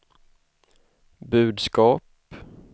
budskap